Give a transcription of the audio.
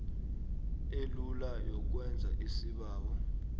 elula yokwenza isibawo